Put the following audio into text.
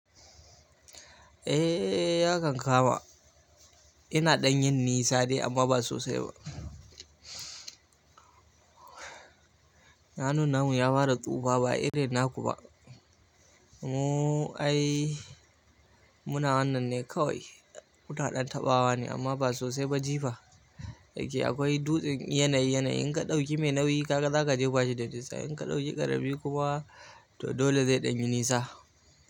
Ehh. Ya kan kama ina ɗan yin nisa dai amma ba sosai ba. Hannun namu ya fara tsufa ba irin na kuba. Mu ai muna wannan ne kawai. Muna ɗan taɓawa ne amma ba sosai ba, jifa. Da yake akwai dutsen yanayi yanayi, in ka ɗauki mai nauyi kaka zaka jefa shi da kusa. In ka ɗauki ƙarami kuma to dole zai ɗan yi nisa.